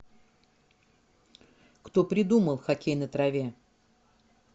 кто придумал хоккей на траве